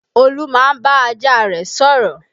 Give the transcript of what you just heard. Olú máa ń bá ajá rẹ̀ sọ̀rọ̀